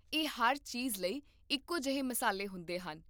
ਇਹ ਹਰ ਚੀਜ਼ ਲਈ ਇੱਕੋ ਜਿਹੇ ਮਸਾਲੇ ਹੁੰਦੇ ਹਨ